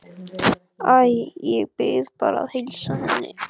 Æ, ég bið bara að heilsa henni